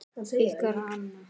Ykkar Hanna.